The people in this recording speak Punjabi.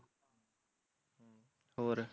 ਹੋਰ